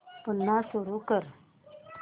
पुन्हा सुरू कर